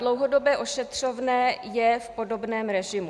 Dlouhodobé ošetřovné je v podobném režimu.